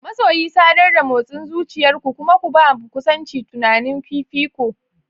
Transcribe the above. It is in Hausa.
Masoyi, sadar da motsin zuciyar ku kuma ku ba kusancin tunani fifiko.